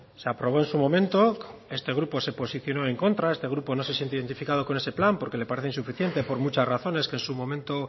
se aprobó en su momento este grupo se posición en contra este grupo no se siente identificado con ese plan porque le parece insuficiente por muchas razones que en su momento